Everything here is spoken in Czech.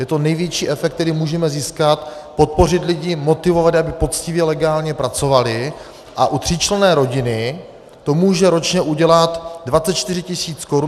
Je to největší efekt, který můžeme získat, podpořit lidi, motivovat, aby poctivě, legálně pracovali, a u tříčlenné rodiny to může ročně udělat 24 tisíc korun.